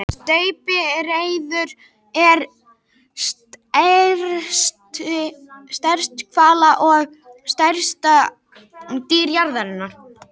Steypireyður er stærst hvala og stærsta dýr jarðarinnar.